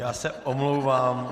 Já se omlouvám.